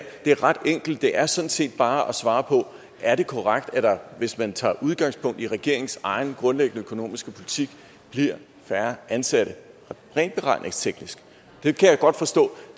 det er ret enkelt det er sådan set bare at svare på det er det korrekt at der hvis man tager udgangspunkt i regeringens egen grundlæggende økonomiske politik bliver færre ansatte rent beregningsteknisk jeg kan godt forstå